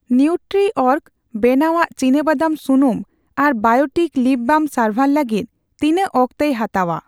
ᱱᱤᱣᱴᱨᱤᱚᱨᱜ ᱵᱮᱱᱟᱣᱟᱜ ᱪᱤᱱᱟᱵᱟᱫᱟᱢ ᱥᱩᱱᱩᱢ ᱟᱨ ᱵᱟᱭᱚᱴᱤᱠ ᱞᱤᱯ ᱵᱟᱢ ᱥᱟᱨᱵᱷᱟᱨ ᱞᱟᱹᱜᱤᱛ ᱛᱤᱱᱟᱹᱜ ᱚᱠᱛᱮᱭ ᱦᱟᱛᱟᱣᱟ ?